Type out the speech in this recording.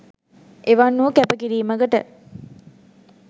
එවන් වූ කැප කිරීමකට